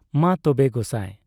ᱢᱟ ᱛᱚᱵᱮ ᱜᱚᱥᱟᱸᱭ ᱾